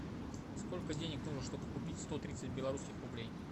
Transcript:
сколько денег нужно чтобы купить сто тридцать белорусских рублей